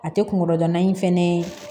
A tɛ kunkolo gana in fɛnɛ